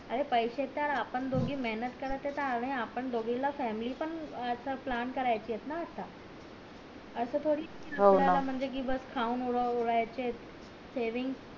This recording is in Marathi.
अरे पैसे त आपण दोघी मेहनत करत आहेत त आपण दोघी ला फॅमिली पण चा प्लान करायचाय ना आता असं थोडी कि म्हणजे आपल्या ला बस खाऊन उडवायचेत सेविंग